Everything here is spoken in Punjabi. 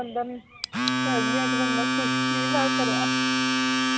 ਬੰਦਾ ਨਹੀਂ ਨਾਲੇ